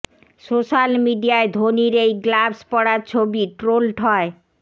social মিডিয়ায় ধোনির এই গ্লাভস পড়া ছবি ট্রোলড হয়